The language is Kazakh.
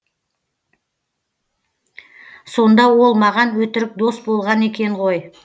сонда ол маған өтірік дос болған екен ғой